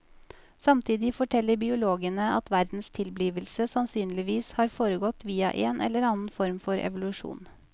Samtidig forteller biologene at verdens tilblivelse sannsynligvis har foregått via en eller annen form for evolusjon.